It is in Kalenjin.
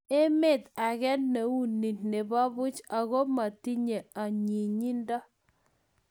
emet age ne uu nik ne bo buch aku matinye inyinyinto